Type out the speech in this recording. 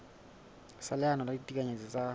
sa leano la ditekanyetso tsa